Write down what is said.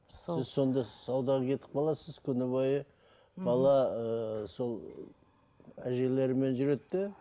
сіз сонда саудаға кетіп қаласыз күні бойы бала ыыы сол әжелерімен жүреді де